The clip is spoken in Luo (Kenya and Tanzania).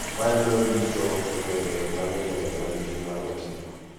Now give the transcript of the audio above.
Maloyo duto e gwenge ma ni e gwenge ma nigi mwandu matindo.